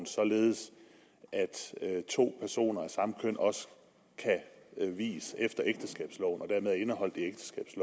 således at to personer af samme køn også kan vies efter ægteskabsloven